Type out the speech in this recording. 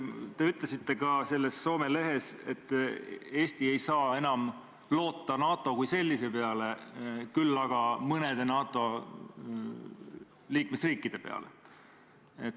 Te ütlesite selles Soome lehes ka seda, et Eesti ei saa enam loota NATO kui sellise peale, küll aga mõnede NATO liikmesriikide peale.